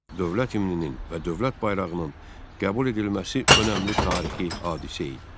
Dövlət himninin və dövlət bayrağının qəbul edilməsi önəmli tarixi hadisə idi.